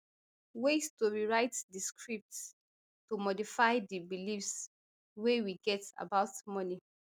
ways to rewrite di scripts to modify di beliefs wey we get about money